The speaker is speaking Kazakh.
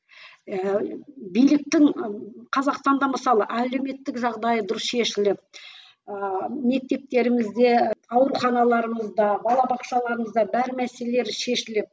ыыы биліктің қазақстанда мысалы әлеуметтік жағдайы дұрыс шешіліп ыыы мектептерімізде ауруханаларымызда бала бақшаларымызда бар мәселелер шешіліп